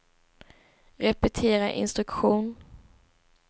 repetera instruktion